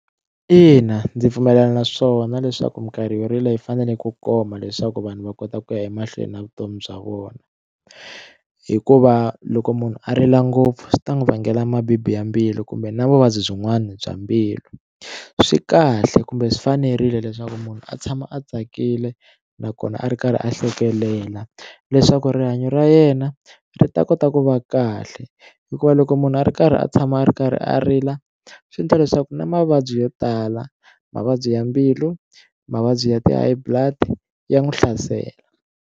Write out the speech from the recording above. Ina, ndzi pfumelelana na swona leswaku minkarhi yo rila yi fanele ku koma leswaku vanhu va kota ku ya emahlweni na vutomi bya vona hikuva loko munhu a rila ngopfu swi ta n'wi vangela mabibi ya mbilu kumbe na vuvabyi byin'wana bya mbilu swi kahle kumbe swi fanerile leswaku munhu a tshama a tsakile nakona a ri karhi a hlekelela leswaku rihanyo ra yena ri ta kota ku va kahle hikuva loko munhu a ri karhi a tshama a ri karhi a rila swi endla leswaku na mavabyi yo tala mavabyi ya mbilu mavabyi ya ti-high blood ya n'wi hlasela.